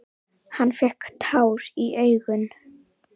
Hann fékk tár í augun.